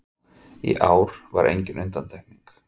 Í ár var engin undantekning